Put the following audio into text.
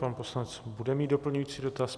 Pan poslanec bude mít doplňující dotaz.